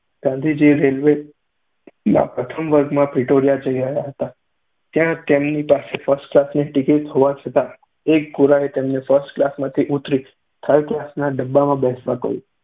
ગાંધીજી રેલ્વેમાં પ્રથમ વર્ગ માં પ્રિટોરિયા જઈ રહ્યા હતા ત્યારે તેમની પાસે ફર્સ્ટ ક્લાસની ટિકિટ હોવાં છતાં એક ગોરાએ તેમને ફર્સ્ટ ક્લાસમાંથી ઊતરી થર્ડ ક્લાસના ડબ્બામાં બેસવા કહ્યું.